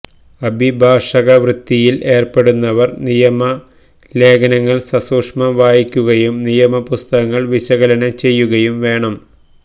അഭിഭാഷകവൃത്തിയില് ഏര്പ്പെടുന്നവര് നിയമലേഖനങ്ങള് സസൂക്ഷ്മം വായിക്കുകയും നിയമപുസ്തകങ്ങള് വിശകലനം ചെയ്യുകയും വേണം